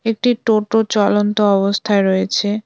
একটি টোটো চলন্ত অবস্থায় রয়েছে।